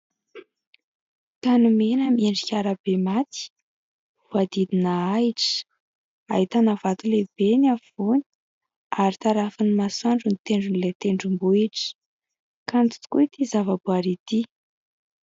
Tany mena miendrika arabe maty, voadidina ahitra. Ahitana vato lehibe ny afovoany ary tarafin'ny masoandro ny tendron'ilay tendrombohitra. Kanto tokoa itỳ zavaboaary itỳ.